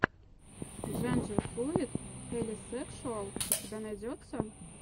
джендерфлуид хелисекшуал у тебя найдется